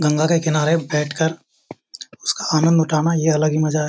गंगा के किनारे बैठ कर उसका आनंद उठाना ये एक अलग ही मजा है।